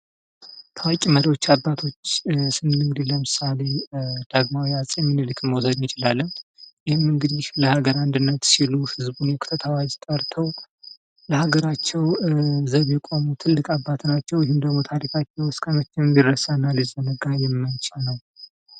ታዋቂ መሪዎች አባቶች ስንል እንግዲህ ለምሳሌ ዳግማዊ አጼ ሚኒሊክን መውሰድ እንችላለን። ይኽም እንግዲህ ለሃገር አንድነት ሲሉ ህዝቡን አዋጅ ጠርተው ለሃገራቸው ዘብ የቆሙ ትልቅ አባት ናቸው ይሀም ደግሞ ታሪካቸው እስከመቼም ሚረሳ እና ሊዘነጋ የማይችል ነው።